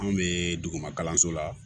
Anw bɛ duguma kalanso la